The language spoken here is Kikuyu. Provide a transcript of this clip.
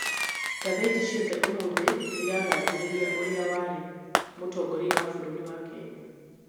ngathĩti ciothe ũmũthĩ nĩ iragathĩrĩria ũrĩa warĩ mũtongoria wa bũrũri wa Kenya